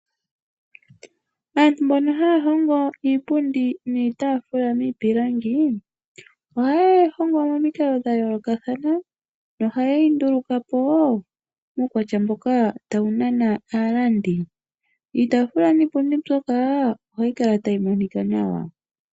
Aantu mbono haya hingi iipundi niitaafula miipilangi ohaye yi hongo momikalo dha yoolokathana nohaye yi nduluka po muukwatya mboka tawu nana aalandi. Iitaafula niipundi mbyoka ohayi kala tayi monika nawa.